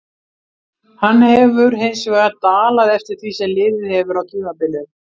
Hann hefur hinsvegar dalað eftir því sem liðið hefur á tímabilið.